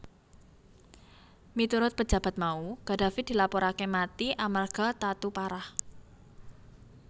Miturut pejabat mau Gaddafi dilapuraké mati amarga tatu parah